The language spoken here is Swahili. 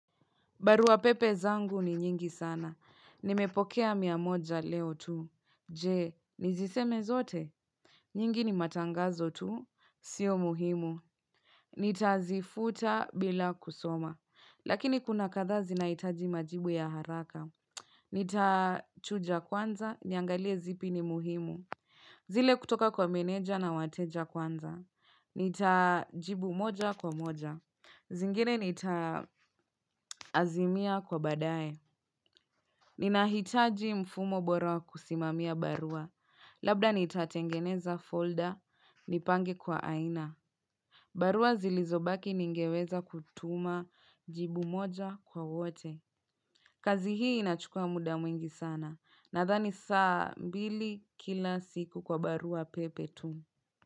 Barua pepe zangu ni nyingi sana. Nimepokea mia moja leo tu. Je, niziseme zote? Nyingi ni matangazo tu. Sio muhimu. Nitazifuta bila kusoma. Lakini kuna kadhaa zinahitaji majibu ya haraka. Nitachuja kwanza. Niangalie zipi ni muhimu. Zile kutoka kwa meneja na wateja kwanza. Nitajibu moja kwa moja. Zingine nitaazimia kwa baadaye. Ninahitaji mfumo bora wa kusimamia barua. Labda nitatengeneza folda nipange kwa aina barua zilizobaki ningeweza kutuma jibu moja kwa wote kazi hii inachukua muda mwingi sana nadhani saa mbili kila siku kwa barua pepe tu.